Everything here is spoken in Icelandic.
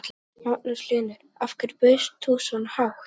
Magnús Hlynur: Af hverju bauðst þú svona hátt?